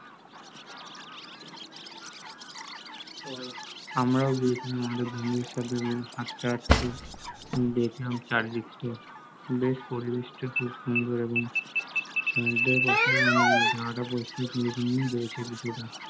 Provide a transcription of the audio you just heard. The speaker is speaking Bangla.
আমরা ও গিয়েছিলাম আমাদের বন্ধুদের সাথে হাটতে হাটতে, দেখলাম চারিদিকটা দিয়ে বেশ পরিবেশ টা খুব সুন্দর এবং সমুদ্রের পাশে জায়গাটা পরিস্কার করেছিল কিছুটা